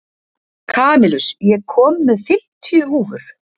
Kamilus, ég kom með fimmtíu húfur!